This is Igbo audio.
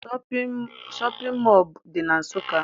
Shọpịn mọọ dị na Nsụka